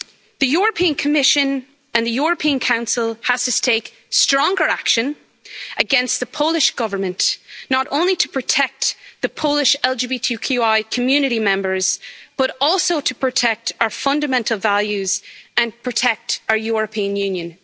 The European Commission and the European Council have to take stronger action against the Polish Government, not only to protect the Polish LGBTQI community members, but also to protect our fundamental values and protect our European Union.